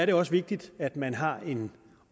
det også vigtigt at man har en